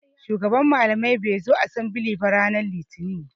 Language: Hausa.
Shugaban malamai bai zo asembili ba ranar litini.